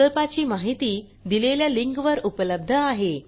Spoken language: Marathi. प्रकल्पाची माहिती दिलेल्या लिंकवर उपलब्ध आहे